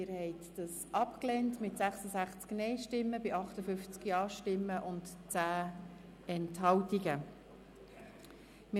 Sie haben dieses Postulat mit 66 Nein- gegen 58 Ja-Stimmen bei 10 Enthaltungen abgelehnt.